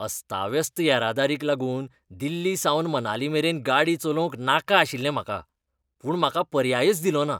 अस्ताव्यस्त येरादारीक लागून दिल्लीसावन मनालीमेरेन गाडी चलोवंक नाका आशिल्लें म्हाका, पूण म्हाका पर्यायच दिलोना.